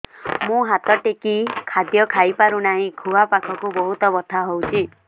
ମୁ ହାତ ଟେକି ଖାଦ୍ୟ ଖାଇପାରୁନାହିଁ ଖୁଆ ପାଖରେ ବହୁତ ବଥା ହଉଚି